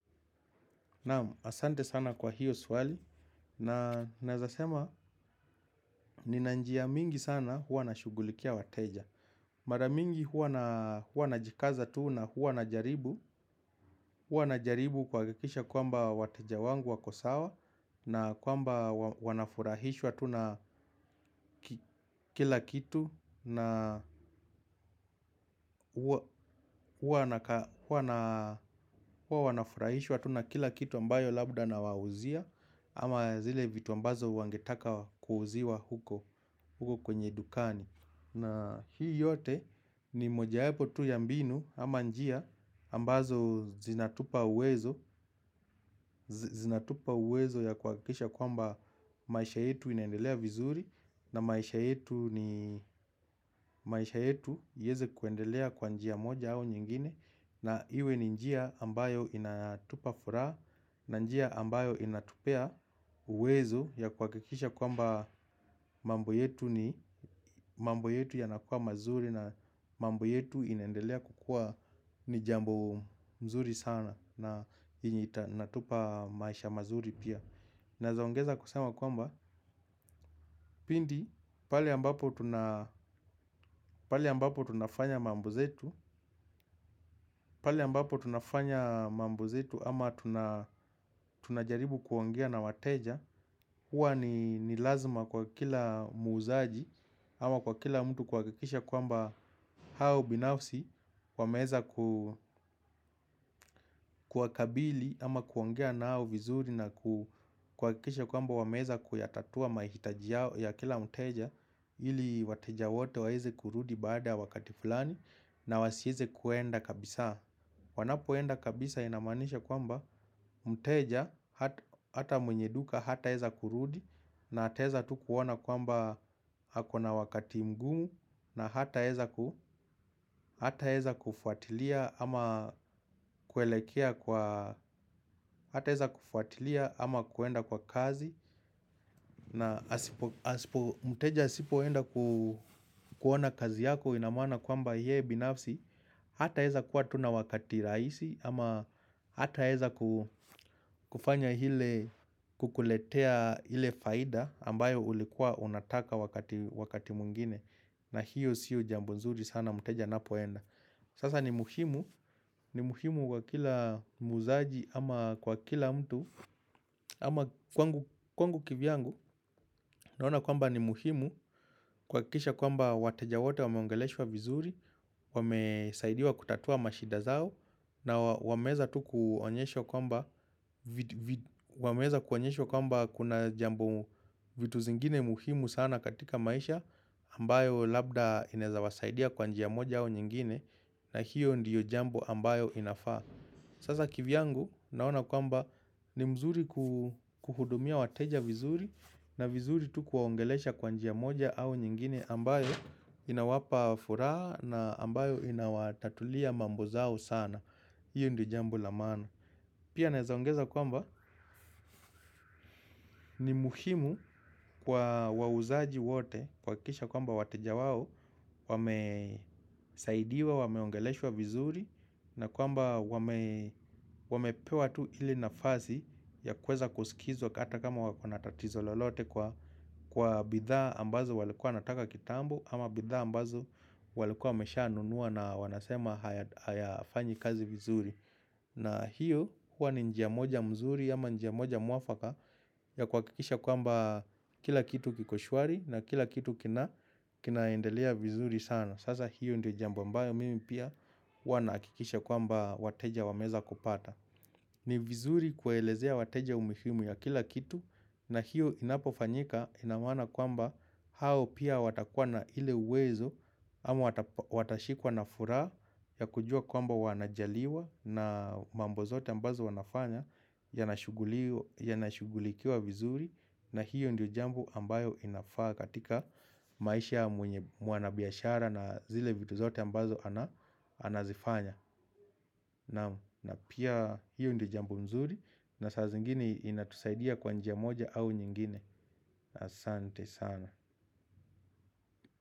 Asante sana kwa hiyo swali na naezasema nina njia mingi sana huwa nashugulikia wateja. Mara mingi huwa najikaza tu na huwa najaribu huwa najaribu kuhakikisha kwamba wateja wangu wako sawa. Na kwamba wanafurahishwa tu na kila kitu na huwa wanafurahishwa tu na kila kitu ambayo labda nawauzia. Ama zile vitu ambazo wangetaka kuuziwa huko hukok wenye dukani. Na hii yote ni mojayepo tu ya mbinu ama njia ambazo zinatupa uwezo. Zinatupa uwezo ya kuhakikisha kwamba maisha yetu inaendelea vizuri. Na maisha yetu ni maisha yetu ieze kuendelea kwa njia moja au nyingine. Na iwe ni njia ambayo inatupa furaha na njia ambayo inatupea uwezo ya kuhakikisha kwamba mambo yetu ni mambo yetu yanakua mazuri na mambo yetu inaendelea kukua ni jambo mzuri sana na yenye ita natupa maisha mazuri pia. Naezaongeza kusema kwamba pindi pale ambapo tuna pale ambapo tunafanya mambo zetu ama tunajaribu kuongea na wateja. Huwa ni lazima kwa kila muuzaji ama kwa kila mtu kuhakikisha kwamba hao binafsi wameeza kuwakabili ama kuongea na hao vizuri na kuhakikisha kwamba wameeza kuyatatua maihitaji yao ya kila mteja ili wateja wote waeze kurudi baada ya wakati fulani na wasieze kuenda kabisaa. Wanapoenda kabisa inamaanisha kwamba mteja hata mwenye duka hataeza kurudi. Na ataeza tu kuona kwamba hako na wakati mgumu. Na hataeza ku hataeza kufuatilia ama kuelekea kwa hataeza kufuatilia ama kuenda kwa kazi na asipo mteja asipoenda kuona kazi yako ina maana kwamba yeye binafsi hataeza kuwa tu na wakati raisi ama hataeza kufanya hile kukuletea ile faida ambayo ulikua unataka wakati mwingine na hiyo siyo jambo nzuri sana mteja anapoenda sasa ni muhimu ni muhimu kwa kila muuzaji ama kwa kila mtu. Ama kwangu kivyangu naona kwamba ni muhimu kuhakikisha kwamba wateja wote wameongeleshwa vizuri. Wamesaidiwa kutatua mashida zao na wameeza tu kuonyeshwa wameeza kuonyeshwa kwamba kuna jambo vitu zingine muhimu sana katika maisha ambayo labda inaeza wasaidia kwa njia moja au nyingine na hiyo ndiyo jambo ambayo inafaa. Sasa kivyangu naona kwamba ni mzuri kuhudumia wateja vizuri na vizuri tu kuwaongelesha kwa njia moja au nyingine ambayo inawapa furaha na ambayo inawatatulia mambo zao sana. Hiyo ndio jambo la maana. Pia naeza ongeza kwamba ni muhimu kwa wauzaji wote kuhakikisha kwamba wateja wao wamesaidiwa, wameongeleshwa vizuri na kwamba wamepewa tu ile nafasi ya kuweza kusikizwa k ata kama wakona tatizo lolote kwa bidhaa ambazo walikuwa wanataka kitambo ama bidhaa ambazo walikuwa wameshanunua na wanasema hayafanyi kazi vizuri. Na hiyo huwa ni njia moja mzuri ama njia moja mwafaka ya kuhakikisha kwamba kila kitu kiko shwari na kila kitu kinaendelea vizuri sana. Sasa hiyo ndio jambo ambayo mimi pia huwa nahakikisha kwamba wateja wameeza kupata. Ni vizuri kuwaelezea wateja umihimu ya kila kitu na hiyo inapofanyika ina maana kwamba hao pia watakuwa na ile uwezo. Ama watashikwa na furaha ya kujua kwamba wanajaliwa na mambo zote ambazo wanafanya yanashughulikiwa vizuri. Na hiyo ndio jambo ambayo inafaa katika maisha ya mwanabiashara na zile vitu zote ambazo anazifanya. Naam pia hiyo ndio jambo nzuri. Na saa zingine inatusaidia kwa njia moja au nyingine asante sana.